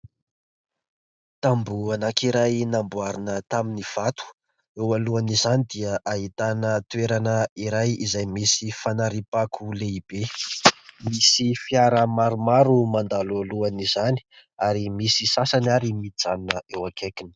tamboho anakiray namboarina tamin'ny vato, eo alohan'izany dia ahitana toerana iray izay misy fanariam-pako lehibe ; misy fiara maromaro mandalo alohany izany, ary misy sasany ary mijanona eo akaikiny.